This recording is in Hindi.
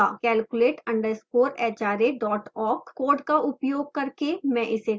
calculate _ hra awk code का उपयोग करके में इसे करती हूँ